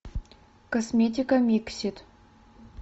косметика миксит